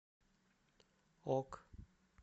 ок